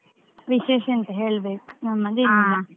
ವಿಶೇಷ ಎಂತ ಹೇಳ್ಬೇಕು .